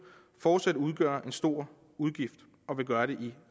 fortsat udgør en stor udgift og vil gøre det i